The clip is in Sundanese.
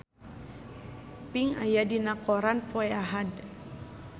Pink aya dina koran poe Ahad